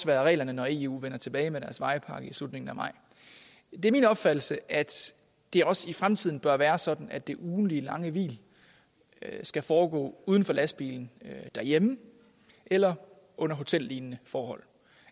være reglerne når eu vender tilbage med deres vejpakke i slutningen af maj det er min opfattelse at det også i fremtiden bør være sådan at det ugentlige lange hvil skal foregå uden for lastbilen derhjemme eller under hotellignende forhold